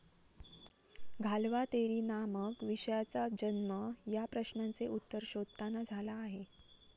घालवा तेरी ना मग विषयाचा जन्म या प्रश्नांचे उत्तर शोधताना झाला आहे